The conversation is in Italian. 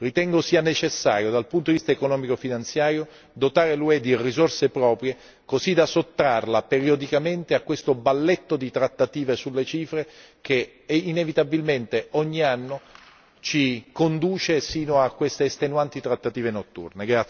Ritengo sia necessario, dal punto di vista economico e finanziario, dotare l'UE di risorse proprie così da sottrarla periodicamente a questo balletto di trattative sulle cifre, che inevitabilmente ogni anno ci conduce sino a queste estenuanti trattative notturne.